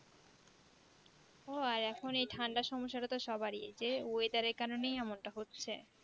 ও আর এখন এই ঠান্ডার সমস্যা টা তো সবারির যে Weather এর কারণে এমনটা হচ্ছে